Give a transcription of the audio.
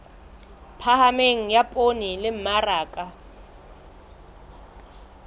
phahameng ya poone le mmaraka